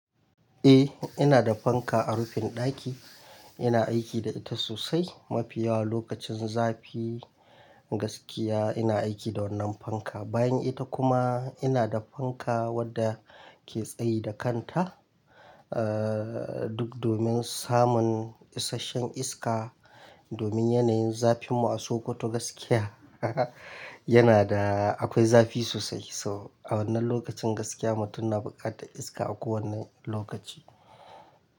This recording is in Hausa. Eh ina da fanka a rufin ɗaki. Ina aiki da ita sosai, mafiya lokacin zafi gaskiya ina aiki da wannan fanka. Bayan ita kuma ina da fanka wadda ke tsayi da kanta, aa duk domin samun isashen iska domin yanayin zafin mu a Sokoto gaskiya yana da, akwai zafi sosai. So a wannan lokacin gaskiya mutum na buƙatar iska a kowane lokaci.